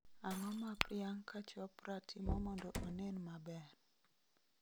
Ang'o ma priyanka chopra timo mondo onen maber